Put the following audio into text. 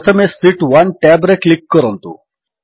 ପ୍ରଥମେ sheet 1 tab ରେ click କରନ୍ତୁ